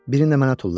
Birini də mənə tulla.